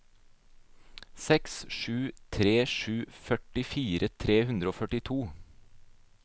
seks sju tre sju førtifire tre hundre og førtito